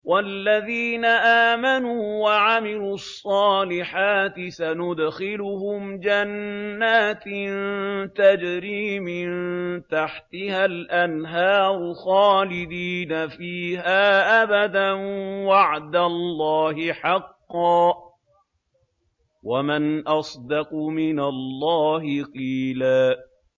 وَالَّذِينَ آمَنُوا وَعَمِلُوا الصَّالِحَاتِ سَنُدْخِلُهُمْ جَنَّاتٍ تَجْرِي مِن تَحْتِهَا الْأَنْهَارُ خَالِدِينَ فِيهَا أَبَدًا ۖ وَعْدَ اللَّهِ حَقًّا ۚ وَمَنْ أَصْدَقُ مِنَ اللَّهِ قِيلًا